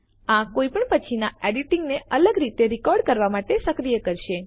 આ કોઈ પણ પછીના એડિટિંગને અલગ રીતે રેકોર્ડ કરવા માટે સક્રિય કરશે